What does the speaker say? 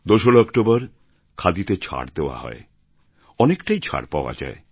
২ রা অক্টোবর খাদিতে ছাড় দেওয়া হয় অনেকটাই ছাড় পাওয়া যায়